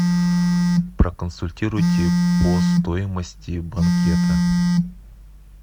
проконсультируйте по стоимости банкета